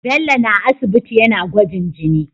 Bello na aisibiti yAna gwajin jini